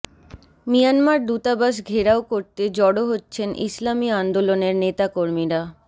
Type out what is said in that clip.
Myanmar দূতাবাস ঘেরাও করতে জড়ো হচ্ছেন ইসলামী আন্দোলনের নেতাকর্মীরা